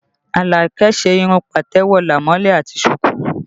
Alake ṣe irun patewo, lamole àti suku